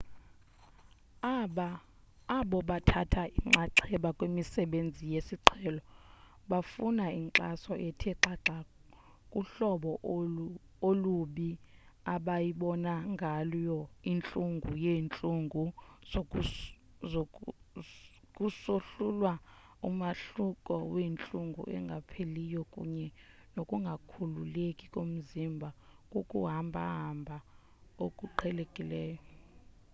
abo bathatha inxaxheba kwimisebenzi yesiqhelo bafuna inkxaso ethe xhaxha kuhlobo olubi abayibona ngayo intlungu yeentlungu kusohlulwa umahluko wentlungu engapheliyo kunye nokungakhululeki komzimba kukuhamba hamba okuqhelekileyo